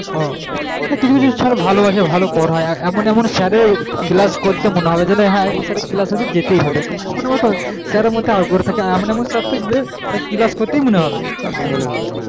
ও কিছু কিছু sir ভালো আছে ভালো পড়ায় এমন এমন sir এর class করতে মনে হবে যেন হ্যাঁ এই sir এর class আছে যেতেই হবে মানে এমন একটা sir এর মধ্যে আগ্রহ থাকে, এমন এমন sir থাকবে তা class করতেই মনে হবে নাম নে হবে হ্যাঁ